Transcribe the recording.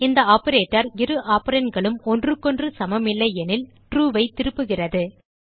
இந்த ஆப்பரேட்டர் இரு operandகளும் ஒன்றுக்கொன்று சமமில்லை எனில் ட்ரூ ஐ திருப்புகிறது